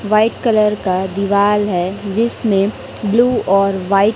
white colour का दिवाल है जिसमें ब्लू और व्हाइट --